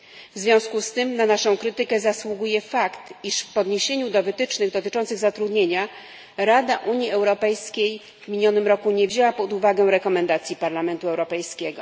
W związku z tym na naszą krytykę zasługuje fakt, iż w odniesieniu do wytycznych dotyczących zatrudnienia Rada Unii Europejskiej w minionym roku nie wzięła pod uwagę rekomendacji Parlamentu Europejskiego.